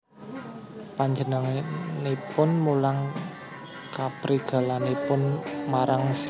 Panjenenganipun mulang kaprigelanipun marang Zeami